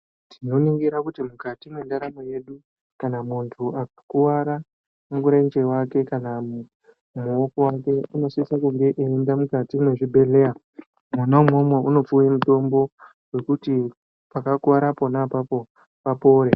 Tnoningira kuti mukati mendaramo yedu kana mundu akakuwara murenje wake kana mumuoko wake inosisa kuenda kuzvibhehlera mona imomo unopiwa mutombo kuti pakakuwara pona ipapo papore.